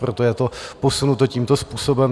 Proto je to posunuto tímto způsobem.